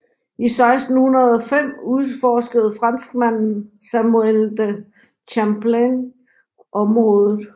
I 1605 udforskede franskmanden Samuel de Champlain området